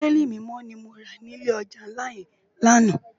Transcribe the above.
Bibéli Mimò ni mó rá ni ilé òjá nlá yèn làná